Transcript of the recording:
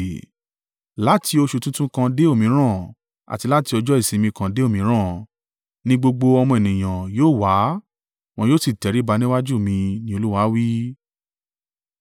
Láti oṣù tuntun kan dé òmíràn àti láti ọjọ́ ìsinmi kan dé òmíràn, ni gbogbo ọmọ ènìyàn yóò wá, wọn yóò sì tẹríba níwájú mi,” ni Olúwa wí.